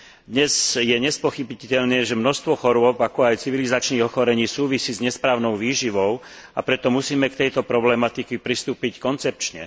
Dnes je nespochybniteľné, že množstvo chorôb, ako aj civilizačných ochorení súvisí s nesprávnou výživou, a preto musíme k tejto problematike pristúpiť koncepčne.